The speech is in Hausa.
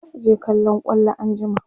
zasu je kallon kwallo anjima